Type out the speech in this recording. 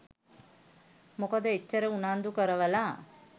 මොකද එච්චර උනන්දු කරවල